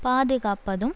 பாதுகாப்பதும்